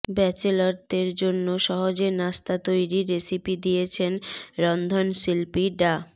ব্যাচেলরদের জন্য সহজে নাস্তা তৈরির রেসিপি দিয়েছেন রন্ধনশিল্পী ডা